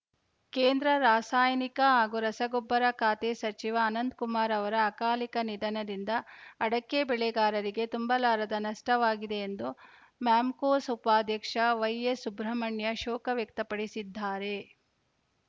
ಕೇಂದ್ರ ರಾಸಾಯನಿಕ ಹಾಗೂ ರಸಗೊಬ್ಬರ ಖಾತೆ ಸಚಿವ ಅನಂತಕುಮಾರ್‌ ಅವರ ಅಕಾಲಿಕ ನಿಧನದಿಂದ ಅಡಕೆ ಬೆಳೆಗಾರರಿಗೆ ತುಂಬಲಾರದ ನಷ್ಟವಾಗಿದೆ ಎಂದು ಮ್ಯಾಮ್ಕೋಸ್‌ ಉಪಾಧ್ಯಕ್ಷ ವೈಎಸ್‌ಸುಬ್ರಮಣ್ಯ ಶೋಕ ವ್ಯಕ್ತಪಡಿಸಿದ್ದಾರೆ